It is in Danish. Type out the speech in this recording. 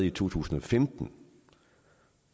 i to tusind og femten